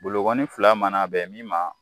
Bologɔnni fila mana bɛn min ma